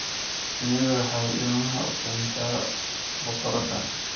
Shinnidu waxay ilmaha u keentaa boqoradda.